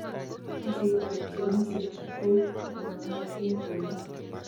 Kasit ab genesik ch komanaiyotin komyee